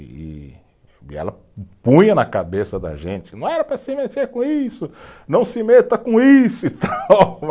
E e ela punha na cabeça da gente, não era para se meter com isso, não se meta com isso e tal.